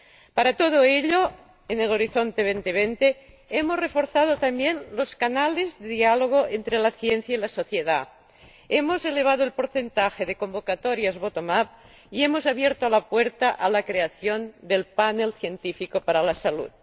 Para todo ello, en Horizonte 2020 hemos reforzado también los canales de diálogo entre la ciencia y la sociedad, hemos elevado el porcentaje de convocatorias bottom up y hemos abierto la puerta a la creación del panel científico para la salud.